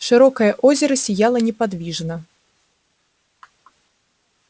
широкое озеро сияло неподвижно